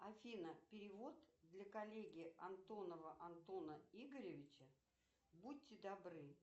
афина перевод для коллеги антонова антона игоревича будьте добры